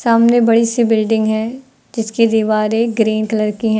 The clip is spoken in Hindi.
सामने बड़ी से बिल्डिंग है जिसकी दीवारे ग्रीन कलर की हैं।